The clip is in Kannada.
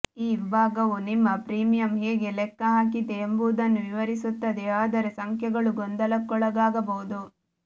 ಈ ವಿಭಾಗವು ನಿಮ್ಮ ಪ್ರೀಮಿಯಂ ಹೇಗೆ ಲೆಕ್ಕ ಹಾಕಿದೆ ಎಂಬುದನ್ನು ವಿವರಿಸುತ್ತದೆ ಆದರೆ ಸಂಖ್ಯೆಗಳು ಗೊಂದಲಕ್ಕೊಳಗಾಗಬಹುದು